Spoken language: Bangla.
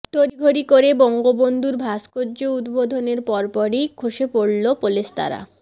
তড়িঘড়ি করে বঙ্গবন্ধুর ভাস্কর্য উদ্বোধনের পরপরই খসে পড়ল পলেস্তারা